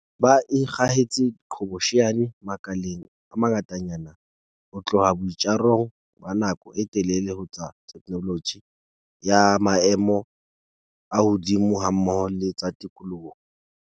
Ba ikgahetse diqhobosheane makaleng a mangatanyana, ho tloha boitjarong ba nako e telele ho tsa theknoloji ya maemo a hodimo hammoho le tsa tikoloho.